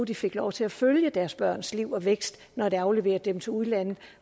de fik lov til at følge deres børns liv og opvækst når de afleverede dem til udlandet